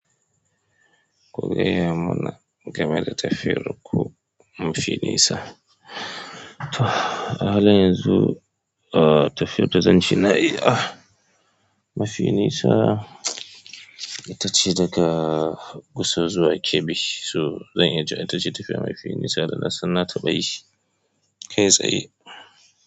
Ku gaya mana game da tafiyar ku mafi nisa. A halin yanzu, tafiyar da zan ca na yi mafi nisa ita ce daga Gusau zuwa Kebbi. So zan iya cewa ita ce tafiyar mafi nisa da na san na ta bayi kai tsaye.